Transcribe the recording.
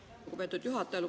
Aitäh, lugupeetud juhataja!